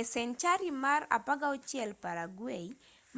e senchari mar 16 paraguay